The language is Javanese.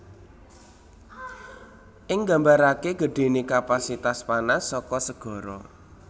Iki nggambaraké gedhéné kapasitas panas saka segara